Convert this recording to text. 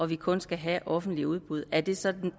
vi kun skal have offentligt udbud er det så